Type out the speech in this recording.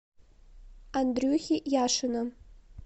андрюхи яшина